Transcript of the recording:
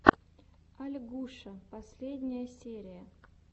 ольгуша последняя серия